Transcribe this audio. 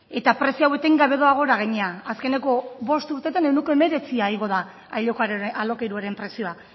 eta prezio hau etengabe doa gora gainera azkeneko bost urtetan ehuneko hemeretzia igo da alokairuaren prezioa